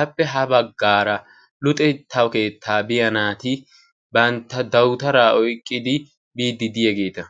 appe ha baggara luxetta keetta biyaa naati bantta dawutara oyqqidi biyaageta.